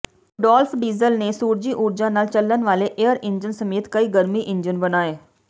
Rudolph Diesel ਨੇ ਸੂਰਜੀ ਊਰਜਾ ਨਾਲ ਚੱਲਣ ਵਾਲੇ ਏਅਰ ਇੰਜਣ ਸਮੇਤ ਕਈ ਗਰਮੀ ਇੰਜਣ ਬਣਾਏ